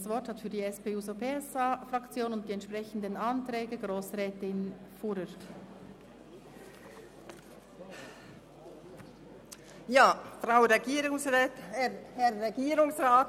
Das Wort hat für die SP-JUSO-PSA-Fraktion und die entsprechenden Anträge Grossrätin Fuhrer.